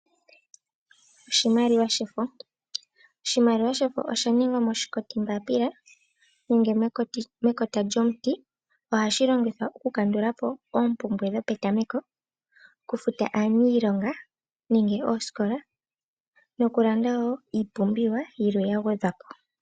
Oshimaliwa shefo, oshimaliwa shefo oshaningwa moshikoti mbapiila nenge nenge mekota lyomuti, ohashi longithwa okukandula po oombumbwe dhopetameko, okufuta aaniilonga nenge oosikola, nokulanda woo iipumbiwa yilwe ya gwedhwa po.